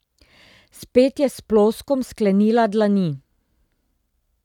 Spet je s ploskom sklenila dlani.